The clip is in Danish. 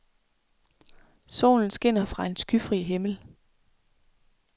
Solen skinner fra en skyfri himmel.